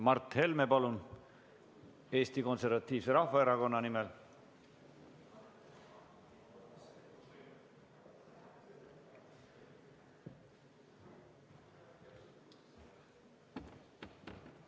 Mart Helme, palun, Eesti Konservatiivse Rahvaerakonna nimel!